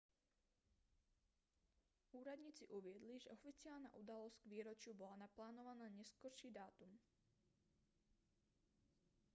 úradníci uviedli že oficiálna udalosť k výročiu bola naplánovaná na neskorší dátum